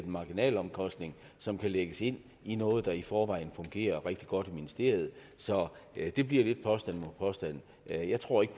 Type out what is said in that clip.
marginalomkostning som kan lægges ind i noget der i forvejen fungerer rigtig godt i ministeriet så det bliver lidt påstand mod påstand jeg jeg tror ikke